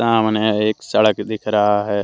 सामने एक सड़क दिख रहा है।